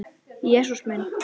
Jesús minn!